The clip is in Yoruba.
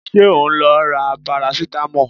Ṣé o ń lọ ra parasitamọ́ọ̀?